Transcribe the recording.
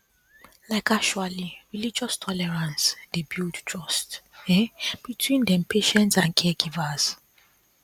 like actually religious tolerance dey builds trust um between dem patients and caregivers